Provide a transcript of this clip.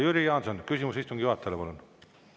Jüri Jaanson, küsimus istungi juhatajale, palun!